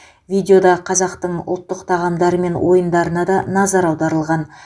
видеода қазақтың ұлттық тағамдары мен ойындарына да назар аударылған